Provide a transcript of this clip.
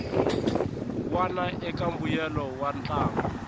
wana eka mbuyelo wa ntlangu